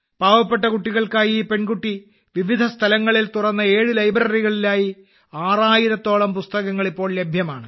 പാവപ്പെട്ട കുട്ടികൾക്കായി ഈ പെൺകുട്ടി വിവിധ സ്ഥലങ്ങളിൽ തുറന്ന 7 ലൈബ്രറികളിലായി ആറായിരത്തോളം പുസ്തകങ്ങൾ ഇപ്പോൾ ലഭ്യമാണ്